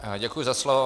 Děkuji za slovo.